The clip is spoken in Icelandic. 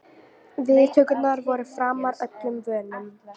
Viðtökurnar voru framar öllum vonum